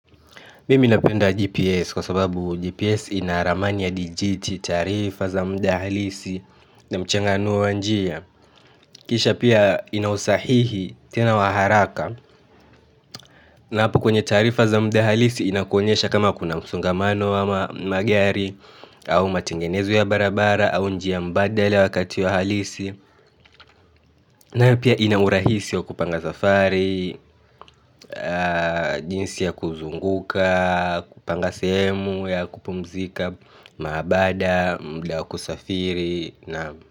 Mimi napenda GPS kwa sababu GPS ina ramani ya dijiti, taarifa za muda halisi na mchanganuo wa njia kisha pia ina usahihi tena wa haraka napo kwenye taarifa za mdahalisi inakuonyesha kama kuna msongamano ama magari au matengenezo ya barabara au njia mbadala wakati wa halisi na pia ina urahisi wa kupanga safari, jinsi ya kuzunguka, kupanga sehemu ya kupumzika, maabada, muda wa kusafiri.